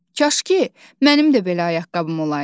Kaş ki, mənim də belə ayaqqabım olaydı.